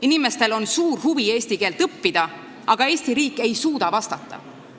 Inimestel on suur huvi eesti keelt õppida, aga Eesti riik ei suuda vastata.